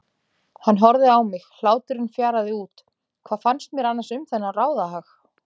Hann horfði á mig, hláturinn fjaraði út, hvað fannst mér annars um þennan ráðahag?